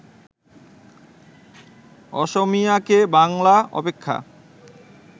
অসমীয়াকে বাংলা অপেক্ষা